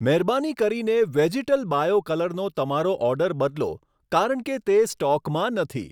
મહેરબાની કરીને vegetal bio કલરનો તમારો ઓર્ડર બદલો, કારણ કે તે સ્ટોકમાં નથી.